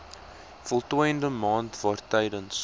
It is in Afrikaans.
voltooide maand waartydens